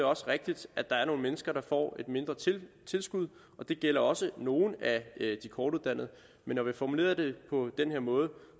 også rigtigt at der er nogle mennesker der får et mindre tilskud det gælder også nogle af de kortuddannede men når vi formulerede det på den her måde